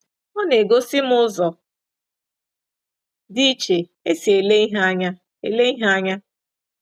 Ọ na-egosi m ụzọ dị iche e si ele ihe anya ele ihe anya ”